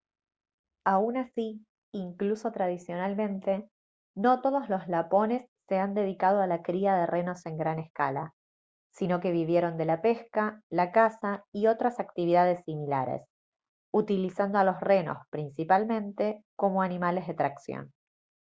aun así incluso tradicionalmente no todos los lapones se han dedicado a la cría de renos en gran escala sino que vivieron de la pesca la caza y otras actividades similares utilizando a los renos principalmente como animales de tracción